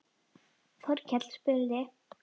Þorkell spurði